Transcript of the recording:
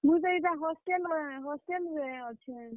ମୁଇଁ ତ ଇଟା hostel ରେ hostel ଅଛେଁ।